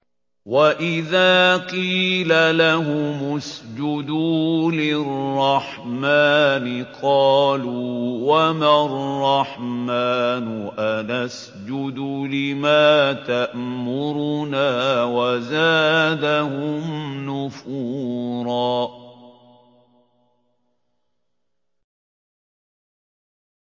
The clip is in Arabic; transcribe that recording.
وَإِذَا قِيلَ لَهُمُ اسْجُدُوا لِلرَّحْمَٰنِ قَالُوا وَمَا الرَّحْمَٰنُ أَنَسْجُدُ لِمَا تَأْمُرُنَا وَزَادَهُمْ نُفُورًا ۩